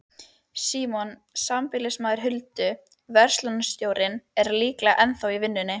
Fengi hann rekstrarlánið yrði hún skrifstofustúlka.